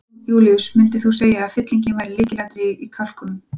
Jón Júlíus: Myndir þú segir að fyllingin væri lykilatriðið í kalkúnum?